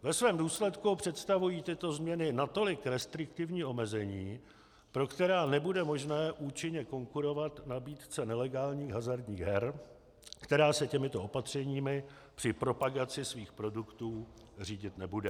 Ve svém důsledku představují tyto změny natolik restriktivní omezení, pro která nebude možné účinně konkurovat nabídce nelegálních hazardních her, která se těmito opatřeními při propagaci svých produktů řídit nebude.